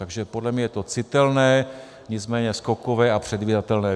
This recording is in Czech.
Takže podle mě je to citelné, nicméně skokové a předvídatelné.